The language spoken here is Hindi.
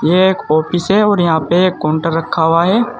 ये एक ऑफिस है और यहाँ पे काउंटर रखा हुआ है।